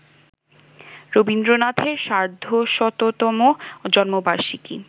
রবীন্দ্রনাথের সার্ধশততম জন্মবার্ষিকী